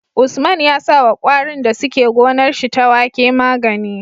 Usman ya sawa kwarin da suke gonar shi ta wake magani